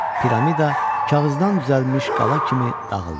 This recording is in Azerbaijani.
Piramida kağızdan düzəlmiş qala kimi dağıldı.